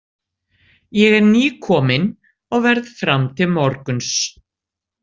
Ég er nýkominn og verð fram til morguns.